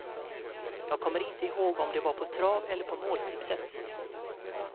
Jag kommer inte ihåg om det var på trav eller på måltipset.